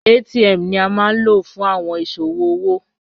ATM ni a ma lo fun awọn iṣowo owo